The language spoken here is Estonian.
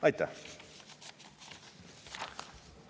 Aitäh!